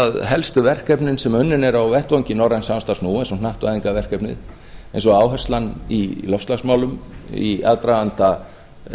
að helstu verkefnin sem unnin eru á vettvangi norræns samstarfs nú eins og hnattvæðingarverkefnið eins og áherslan í loftslagsmálum í aðdraganda